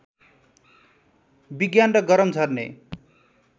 विज्ञान र गरम झर्ने